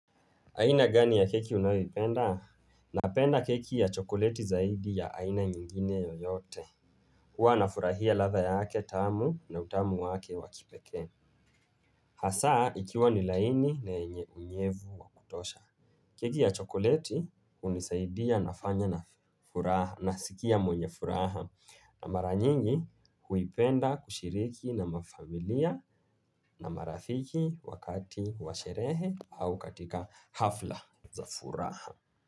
Aina gani ya keki unayoipenda? Napenda keki ya chokoleti zaidi ya aina nyingine yoyote. Huwa nafurahia latha yaake tamu na utamu wake wake wa kipeke. Hasaa ikiwa ni laini na yenye unyevu wakutosha. Keki ya chokoleti unisaidia nafanya na furaha nasikia mwenye furaha. Na maranyingi huipenda kushiriki na mafamilia na marafiki wakati washerehe au katika hafla za furaha.